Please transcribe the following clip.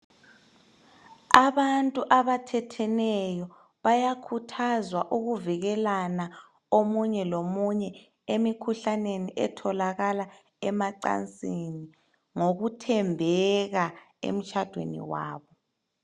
Abantu abathetheneyo, bayakhuthazwa ukuvikelana, omunye lomunye. Emikhuhlaneni etholakala emacansini. Ngokuthembeka emtshadweni wabo.